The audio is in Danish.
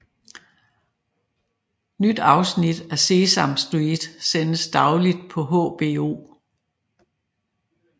Nye afsnit af Sesame Street sendes dagligt på HBO